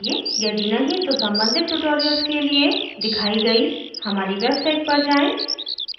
यदि नहीं तो कृपया संबंधित tutorials के लिए दिखाई गई हमारी website पर जाएँ